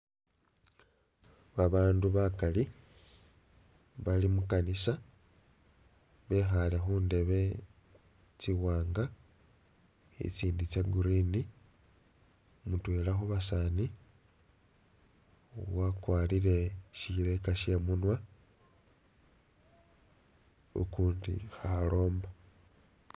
Babandu bakali bali mukanisa bekhale khundebe tsiwaanga i'tsindi tsa green, mutwela khubasaani wakwalire shileka shemunwa ukundi khaloomba